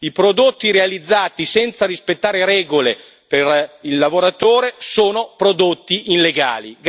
I prodotti realizzati senza rispettare le regole per il lavoratore sono prodotti illegali.